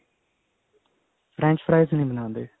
French fries ਨੀ ਬਣਾਉਂਦੇ